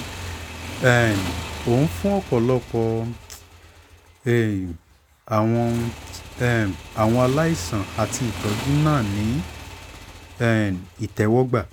um o n fun ọpọlọpọ um awọn um awọn alaisan ati itọju naa ni um itẹwọgba